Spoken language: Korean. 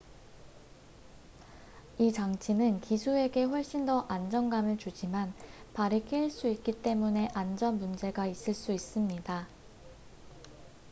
이 장치는 기수에게 훨씬 더 안정감을 주지만 발이 끼일 수 있기 때문에 안전 문제가 있을 수 있습니다